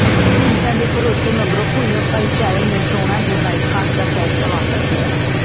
ਢੀਂਡਸਾ ਦੇ ਭਰੋਸੇ ਮਗਰੋਂ ਭੁੱਲਰ ਭਾਈਚਾਰੇ ਨੇ ਚੋਣਾਂ ਦੇ ਬਾਈਕਾਟ ਦਾ ਫੈਸਲਾ ਵਾਪਸ ਲਿਆ